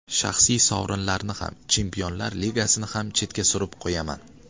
Shaxsiy sovrinlarni ham, Chempionlar Ligasini ham chetga surib qo‘yaman.